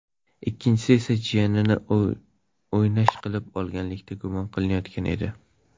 Ikkinchisi esa jiyanini o‘ynash qilib olganlikda gumon qilinayotgan edi.